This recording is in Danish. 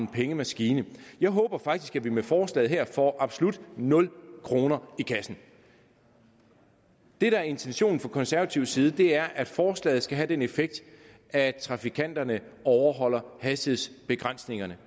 pengemaskine jeg håber faktisk at vi med forslaget her får absolut nul kroner i kassen det der er intentionen fra konservativ side er at forslaget skal have den effekt at trafikanterne overholder hastighedsbegrænsningerne